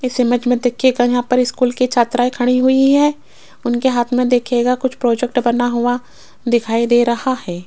इस इमेज में देखिएगा यहां पर स्कूल की छात्राएं खड़ी हुई हैं उनके हाथ में देखिएगा कुछ प्रोजेक्ट बना हुआ दिखाई दे रहा है।